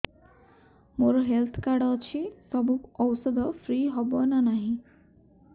ମୋର health card ଅଛି ସବୁ ଔଷଧ ଫ୍ରି ହବ ନା ନାହିଁ